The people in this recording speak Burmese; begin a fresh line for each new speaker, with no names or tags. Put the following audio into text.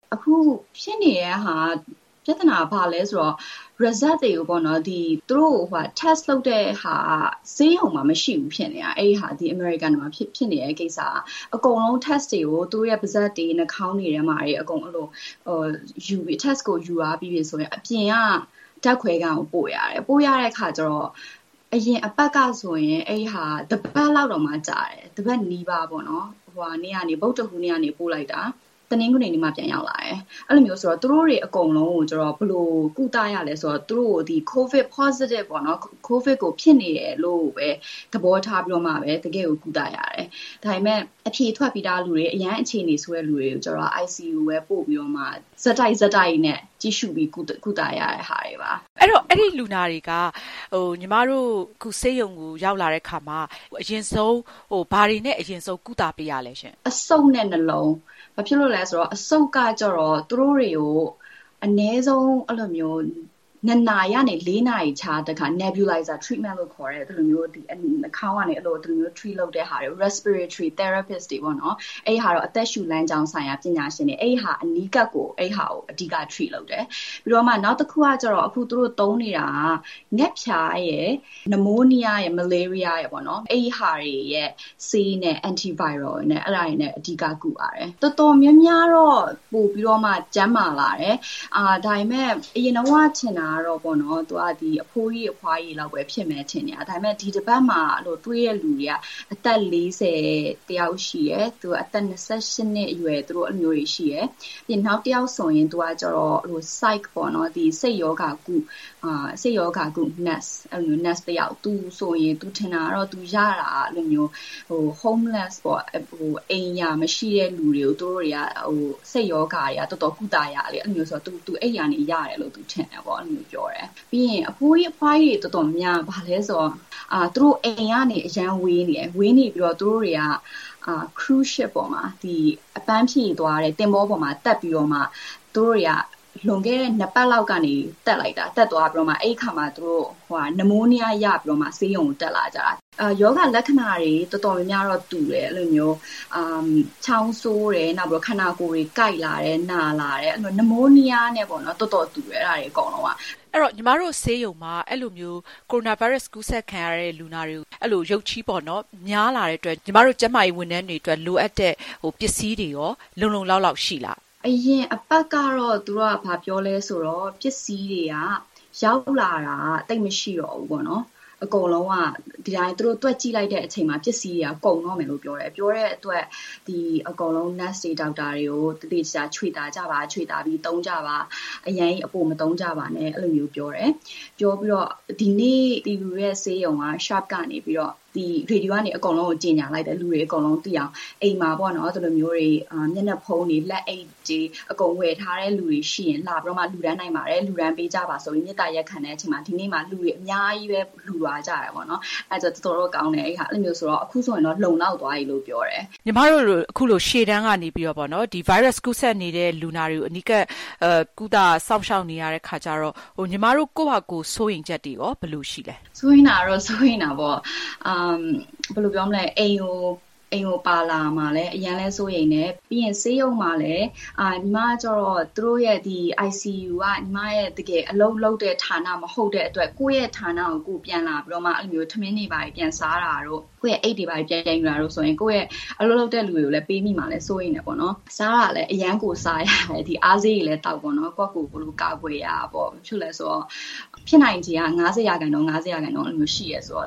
“အခုဖြစ်နေတဲ့ ပြဿနာက ဘာလဲဆိုတော့ Result တွေကို Test လုပ်တဲ့ဟာက ဆေးရုံမှာမရှိဘူးဖြစ်နေတာ အမေရိကန်မှာ ဖြစ်နေတဲ့ကိစ္စက။ အကုန်လုံး Test တွေကို သူတို့ရဲ့ ပါးစပ်တွေ နှာခေါင်းတွေထဲမှာ Test ကို ယူသွားပြီးပြီဆိုရင် အပြင်က ဓာတ်ခွဲခန်းကို ပို့ရတယ်။ ပို့ရတဲ့အခါကြတော့ အရင်အပတ်ကဆိုရင် အဲဒါက တပတ်နီးပါး ကြာတယ်။ ဗုဒ္ဓဟူးနေ့က ပို့လိုက်တာ တနင်္ဂနွေနေ့မှ ပြန်ရောက်လာတယ်။ သူတို့တွေအကုန်လုံးကို ဘယ်လိုကုသရလဲ ဆိုတော့ သူတို့ကို ကိုဗစ် ဖြစ်နေတယ်လို့ သဘောထားပြီးတော့ပဲ ကုသရတယ်။ ဒါပေမယ့် အဖြေထွက်ပြီးသားလူတွေ အရမ်းအခြေအနေဆိုးတဲ့ လူတွေကြတော့
ICU ကို ပို့ပြီးတော့မှ
ဆက်တိုက် ကြည့်ရှုပြီး ကုသရတဲ့ဟာတွေပါ။”
မအင်ကြင်းနိုင် - အဲဒီလူနာတွေက ဆေးရုံကို ရောက်လာတဲ့အခါမှာ ဘာတွေနဲ့ အရင်ဆုံး ကုသပေးရလဲ။
“အဆုတ်နဲ့နှလုံး၊ ဘာဖြစ်လို့လဲဆိုတော့ အဆုတ်က အနည်းဆုံး ၂ နာရီကနေ ၄ နာရီခြားတခါ Nebulizer Treatment လို့ခေါ်တဲ့ နှာခေါင်းကနေ Treat လုပ်တဲ့ဟာ Respiratory Therapist တွေပေါ့၊ အသက်ရှူလမ်းကြောင်းဆိုင်ရာ ပညာရှင်တွေ အနီးကပ်ကို အဓိက Treat လုပ်တယ်။ နောက်တခုက အခု သူတို့သုံးနေတာက ငှက်ဖျားရယ်၊ နမိုးနီးယားရယ်၊ မလေးရီးယားရယ် အဲဒီဟာတွေရဲ့ ဆေးနဲ့ Anti viral နဲ့ အဓိကကုပါတယ်။ တော်တော်များများတော့ ပိုပြီးကျန်းမာလာတယ်။ အရင်တုန်းက ထင်တာတော့ အဘိုးကြီး အဘွားကြီးတွေပဲ ဖြစ်မယ်ထင်နေတာ။ ဒါပေမယ့် ဒီတပတ်မှာ တွေ့တဲ့လူတွေက အသက် ၄၀ တယောက်ရှိတယ်၊ အသက် ၂၈ နှစ်အရွယ်ရှိတယ်။ နောက်တယောက်ကတော့ စိတ်ရောဂါကု Nurse တယောက်၊ သူထင်တာတော့ သူရတာ Homeless ပေါ့၊ အိမ်ရာမရှိတဲ့သူတွေကို သူတို့တွေက စိတ်ရောဂါ သွားသွားကုသရတယ်၊ သူ အဲဒီကနေ ရတယ်လို့ ထင်တယ်လို့ ပြောတယ်။ “အဘိုးကြီး အဘွားကြီးတွေက အိမ်ကနေ အရမ်းဝေးနေတယ်၊ သူတို့က အပန်းဖြေသွားတဲ့ သင်္ဘောပေါ် လွန်ခဲ့တဲ့ နှစ်ပတ်လောက်က တက်သွားပြီးတော့မှ အဲဒီကနေ နမိုးနီးယား ရပြီးတော့ ဆေးရုံတက်လာကြတာ။ ရောဂါလက္ခဏာတွေ တော်တော်များများတော့ တူတယ်။ ချောင်းဆိုးတယ်၊ ခန္ဓာကိုယ်တွေ ကိုက်လာတယ်၊ နာလ
ာတယ်၊ နမိုးနီးယားနဲ့ တော်တော်တူတယ်။” မအင်ကြင်းနိုင် - ညီမတို့ဆေးရုံမှာ ကိုရိုနာဗိုင်းရပ်စ် ကူးစက်ခံရတဲ့ လူနာတွေ ရုတ်ချည်း များလာတဲ့အတွက် ကျန်းမာရေးဝန်ထမ်းတွေအတွက် လိုအပ်တဲ့ ပစ္စည်းတွေရော လုံလုံလောက်လောက် ရှိလား။
“အရင်အပတ်ကတော့ ပစ္စည်းတွေက ရောက်လာတာ သိပ်မရှိတော့ဘူး၊ သူတို့ တွက်ကြည့်လိုက်တဲ့အချိန်မှာ ပစ္စည်းတွေက ကုန်တော့မယ်လို့ ပြောတယ်။ အဲဒါကြောင့် Nurse တွေ ဒေါက်တာတွေကို ပစ္စည်းတွေ ချွေတာကြပါ၊ အရမ်းကြီး အပိုမသုံးကြပါနဲ့လို့ ပြောတယ်။ ဒီနေ့ ဆေးရုံက ရေဒီယိုကနေ ကြေညာလိုက်တယ်၊ လူတွေအကုန်သိအောင်။ အိမ်မှာ မျက်နှာဖုံးတွေ၊ လက်အိတ်တွေ ဝယ်ထားတဲ့လူတွေရှိရင် လာပြီးတော့ လှူဒါန်းနိုင်တယ်၊ လှူဒါန်းပေးကြပါဆိုပြီး မေတ္တာရပ်ခံတဲ့အချိန်မှာ ဒီနေ့ လူတွေ အများကြီးပဲ လှူသွားကြတယ်။ အဲဒါကြောင့် အခုဆို လုံလောက်သွားပြီလို့ ပြောတယ်။
” မအင်ကြင်းနိုင် - အခုလို ရှေ့တန်းကနေ ဗိုင်းရပ်စ်ကူးစက်နေတဲ့ လူနာတွေကို အနီးကပ်ကုသ စောင့်ရှောက်နေရတဲ့ အခါကြတော့ ညီမတို့ ကိုယ့်ဟာကိုယ် စိုးရိမ်ချက်တွေရော ဘယ်လိုရှိလဲ။ “စိုးရိမ်တာပေါ့။ အိမ်
ကိုပါလာမှာလည်း အရမ်းစိုးရိမ်တယ်။ ဆေးရုံမှာကြတော့ ICU က ညီမတကယ်အလုပ်လုပ်တဲ့ ဌာနမဟုတ်တဲ့အတွက် ကိုယ့်ရဲ့ဌာနကို ပြန်လာပြီးတော့ ထမင်းတွေ ဘာတွေ ပြန်စားတာတို့၊ အိတ်တွေ ဘာတွေ ပြန်ယူတာတို့ဆိုရင် ကိုယ် အလုပ်လုပ်တဲ့လူတွေကိုလည်း ပေးမိမှာစိုးတယ်။ အစားကလည်း အရမ်းစားရတယ်၊ အားဆေးတွေလည်း သောက်ပေါ့၊ ကိုယ့်ကိုယ်ကိုယ် ကာကွယ်ရတာပေါ့။ ဘာဖြစ်လို့လဲဆိုတော့ ဖြစ်နိုင်ချေက ၅၀ ရာခိုင်နှုန်း၊ ၅၀ ရာခိုင်နှုန်း ရှိတယ်ဆိုတော့